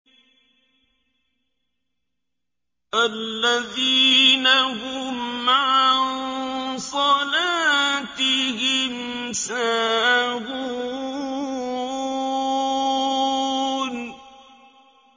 الَّذِينَ هُمْ عَن صَلَاتِهِمْ سَاهُونَ